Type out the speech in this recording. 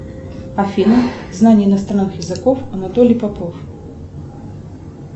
афина знание иностранных языков анатолий попов